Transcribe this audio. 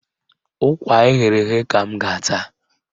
Ụkwa eghere eghe ka m ga-ata.